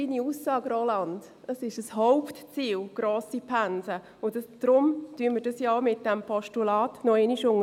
Grosse Pensen sind ein Hauptziel, und darum unterstreichen wir dies mit diesem Postulat noch einmal.